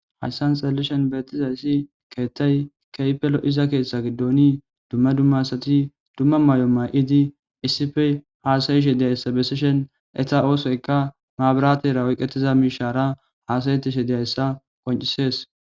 Hayssan xalleshen beettizayssi keettay keypelo iza keeththa giddooni dumma dummasati dumma may7o may7idi issife haasayishe diyayssa besishen eta oosoyka maabaratera woyqetiza miishaara haasayetishe deyayssa qoncisees.